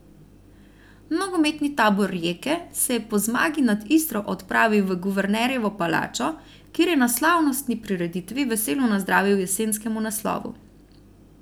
Nogometni tabor Rijeke se je po zmagi nad Istro odpravil v Guvernerjevo palačo, kjer je na slavnostni prireditvi veselo nazdravil jesenskemu naslovu.